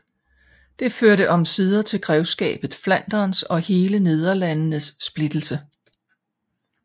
Det førte omsider til grevskabet Flanderns og hele Nederlandenes splittelse